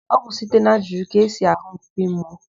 Ọ bụ site n'ajụjụ ka esi àhụ́ mkpi mmụọ.